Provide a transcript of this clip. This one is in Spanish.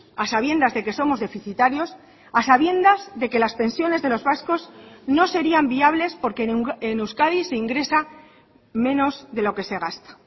a sabiendas de que somos deficitarios a sabiendas de que las pensiones de los vascos no serían viables porque en euskadi se ingresa menos de lo que se gasta